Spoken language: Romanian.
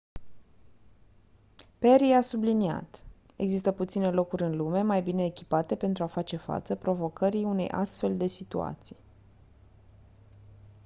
perry a subliniat: «există puține locuri în lume mai bine echipate pentru a face față provocării unei astfel de situații».